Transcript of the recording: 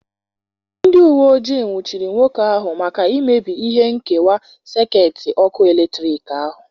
Ndị uwe ojii nwụchiri nwoke ahụ maka imebi ihe nkewa sekit ọkụ eletrik ahụ.